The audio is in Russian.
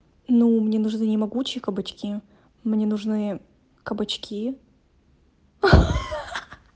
ну мне нужны могучие кабачки мне нужны кабачки